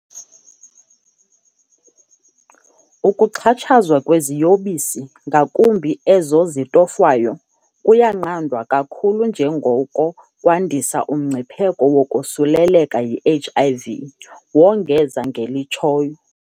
"Ukuxhatshazwa kweziyobisi - ngakumbi ezo zitofwayo - kuyanqandwa kakhulu njengoko kwandisa umngcipheko wokosuleleka yi-HIV," wongeza ngelitshoyo.